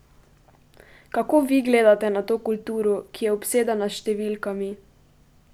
Kako vi gledate na to kulturo, ki je obsedena s številkami?